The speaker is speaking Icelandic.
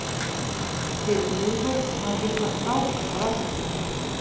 Fyrir miðvörð er hann líka frábær á vellinum.